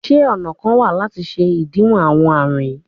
Ṣe ọna kan wa lati ṣe idiwọ awọn arun yii?